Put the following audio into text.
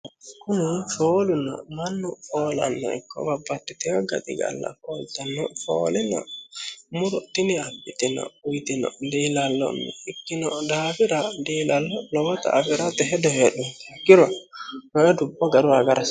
kuni foolu mannu foolannohu ikko babbaxitino gaxigalla fooltannohu muro tini abbite diilallonni ikkitee daafira diilallo lowota afirate hedo heedhuro ikkiro konne dubbo garunni agara hasiissanno.